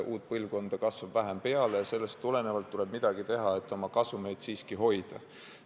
Uut põlvkonda kasvab vähem peale ja sellest tulenevalt tuleb midagi teha, et oma kasumeid siiski hoida.